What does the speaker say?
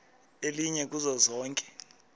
elinye kuzo zonke